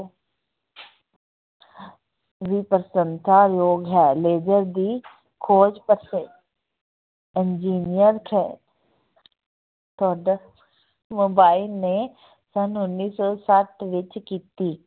ਵੀ ਪ੍ਰਸੰਸਾ ਯੋਗ ਹੈ ਲੇਜ਼ਰ ਦੀ ਖੋਜ engineer ਖੈ mobile ਨੇ ਸੰਨ ਉੱਨੀ ਸੌ ਸੱਤ ਵਿੱਚ ਕੀਤੀ।